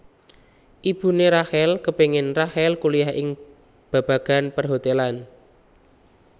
Ibuné Rachel kepéngin Rachel kuliah ing babagan perhotelan